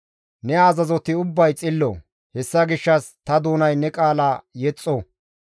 Ne azazoti ubbay xillo; hessa gishshas ta doonay ne qaala yexxo.